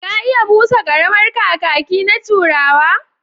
Ka iya busa ƙaramar kakaki na turawa?